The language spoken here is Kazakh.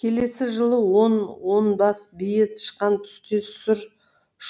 келесі жылы он он бас бие тышқан түстес сұр